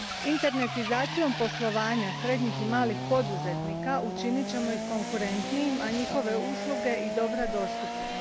Internetizacijom poslovanja srednjih i malih poduzetnika učinit ćemo ih konkurentnijim, a njihove usluge i dobra dostupnim.